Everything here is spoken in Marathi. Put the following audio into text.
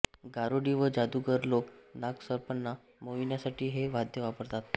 गारुडी व जादूगार लोक नागसर्पांना मोहविण्यासाठी हे वाद्य वापरतात